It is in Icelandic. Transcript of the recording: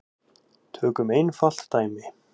Tökum einfalt dæmi.